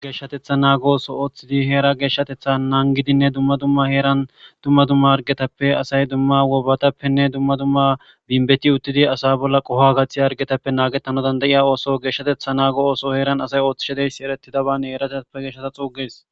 geshshatetha naago so ooththidi heera geeshshatetha naan gidinne dumma dumma heeran dumma dumma argetappe asay dumma wobatappenne dumma dumma binbeti uttidi asa bolla qoho gathi argetappe naagettano dandayiya ooso geeshshatetha naago ooso heeran asay ooththishedeyssi eretidaban heerateppe geshshata xuuges